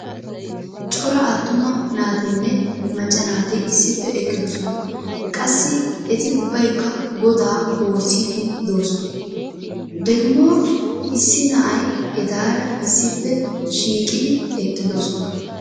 cora attuma naatinne macca naati issippe eqqidesona. qassi eti ubbaykka godaa woosiidi doosona. degimmo issi na'ay etaara issippe shiiqidi eqqidosoan.